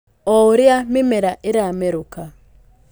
O ũrĩa mĩmera ĩramerũka,